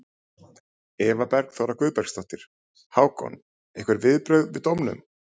Eva Bergþóra Guðbergsdóttir: Hákon, einhver viðbrögð við dómnum?